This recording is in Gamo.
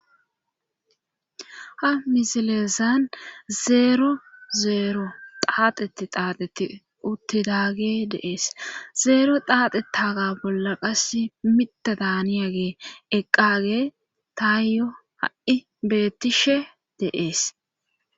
Ta misilezan zeero zeero xaaxeti taateti uttidage de'ees zeero daaxe taaga bolla qas mitta daaniyage eqqage taayyo ha7i beettishe de7es.